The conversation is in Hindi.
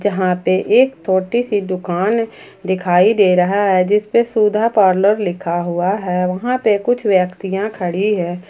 यहां पे एक छोटी सी दुकान दिखाई दे रही है जिस पर सुधा पार्लर लिखा हुआ है वहां पे कुछ व्यक्तियां खड़ी हैं।